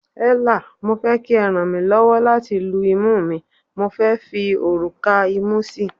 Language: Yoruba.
Ella, mo fé kí e rànmílọ́wọ́ láti lu imú mi, mo fé fi òrùka imu sí